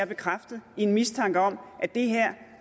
bekræftet i en mistanke om at det her